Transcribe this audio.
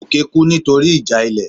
Goke kú nítorí ìjà ilé